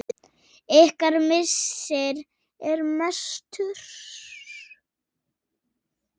Ykkar missir er mestur.